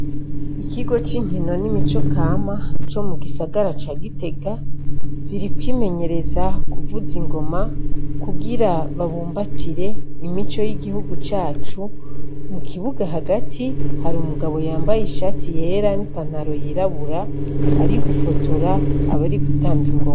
Ikigo c'inkino n'imico kama co mugisagara ca Gitega, ziri kwimenyereza kuvuza ingoma, kugira babumbatire imico y'igihugu cacu, mukibuga hagati hari umugabo yambaye ishati yera n'ipantaro yirabura ari gufotora abari gutamba ingoma.